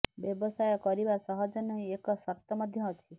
ବ୍ୟବସାୟ କରିବା ସହଜ ନେଇ ଏକ ସର୍ତ୍ତ ମଧ୍ୟ ଅଛି